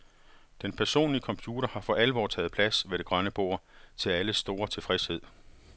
Den personlige computer har for alvor taget plads ved det grønne bord, til alles store tilfredshed.